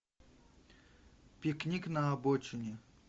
пикник на обочине